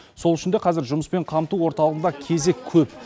сол үшін де қазір жұмыспен қамту орталығында кезек көп